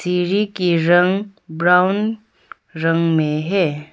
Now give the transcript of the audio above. सीढ़ी के रंग ब्राउन रंग में है।